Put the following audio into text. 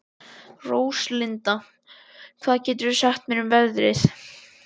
Róslinda, hvað geturðu sagt mér um veðrið?